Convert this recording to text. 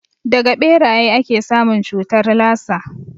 Daga ɓeraye ake samun cutar lasa